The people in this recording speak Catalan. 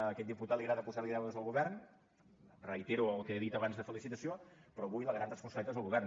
a aquest diputat li agrada posar li deures al govern reitero el que he dit abans de felicitació però avui la gran responsabilitat és del govern